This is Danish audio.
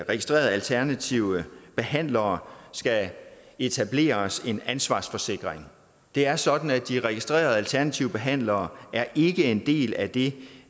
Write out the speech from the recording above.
registrerede alternative behandlere skal etableres en ansvarsforsikring det er sådan at de registrerede alternative behandlere ikke er en del af det